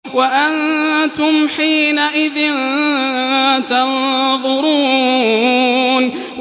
وَأَنتُمْ حِينَئِذٍ تَنظُرُونَ